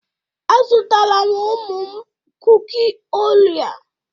Azụtara m ụmụ m kuki orea.